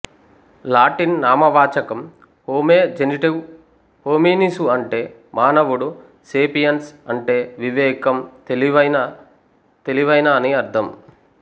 Latin నామవాచకం హోమే జెనిటివు హోమినిసు అంటే మానవుడు సేపియన్స్ అంటే వివేకం తెలివైన తెలివైన అని అర్ధం